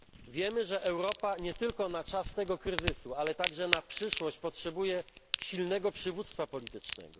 Wiemy, że Europa nie tylko na czas tego kryzysu, ale także na przyszłość potrzebuje silnego przywództwa politycznego.